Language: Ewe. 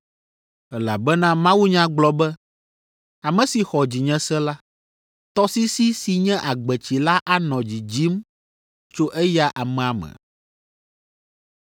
Elabena mawunya gblɔ be, ‘Ame si xɔ dzinye se la, tɔsisi si nye agbetsi la anɔ dzidzim tso eya amea me.’ ”